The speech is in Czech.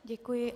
Děkuji.